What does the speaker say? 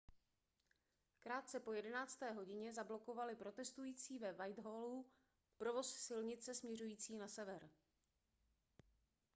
krátce po 11. hodině zablokovali protestující ve whitehallu provoz silnice směřující na sever